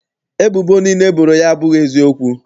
Ebubo niile e boro ya abụghị eziokwu.